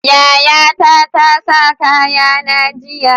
Yayata tasa kaya na jiya